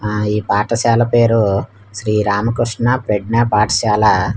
ఆ ఈ పాఠశాల పేరు శ్రీ రామకృష్ణ ప్రజ్ఞ పాఠశాల.